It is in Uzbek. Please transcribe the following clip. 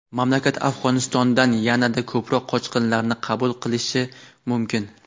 mamlakat Afg‘onistondan yanada ko‘proq qochqinlarni qabul qilishi mumkin.